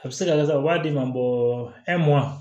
A bɛ se ka kɛ sisan u b'a d'i ma